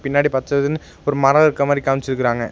பின்னாடி பச்சதுனு ஒரு மரம் இருக்க மாரி காமிச்சிருக்காங்க.